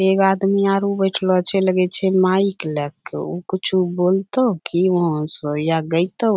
एगो आदमी आरू बैठलो छै लगै छै माइक ले कअ ऊ कुछू बोलतौ कि वहाँ स या गैतौ --